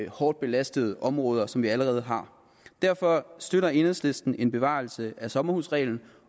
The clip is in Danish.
hårdt belastede områder som vi allerede har derfor støtter enhedslisten en bevarelse af sommerhusreglen